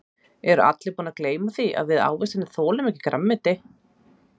Eru allir búnir að gleyma því að við ávextirnir þolum ekki grænmeti.